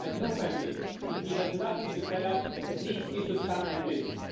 If he has no mandate, if he has nothing to tell us, at least he should come and listen.